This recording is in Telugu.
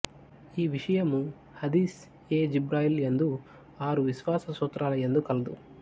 ఈ విషయము హదీస్ ఎ జిబ్రయీల్ యందు ఆరు విశ్వాస సూత్రాల యందు కలదు